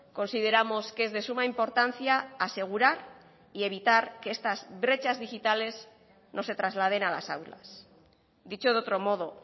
consideramos que es de suma importancia asegurar y evitar que estas brechas digitales no se trasladen a las aulas dicho de otro modo